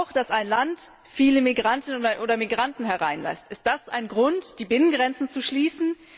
Auch, dass ein Land viele Migrantinnen oder Migranten hereinlässt Ist das ein Grund, die Binnengrenzen zu schließen?